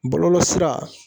Bɔlɔlɔ sira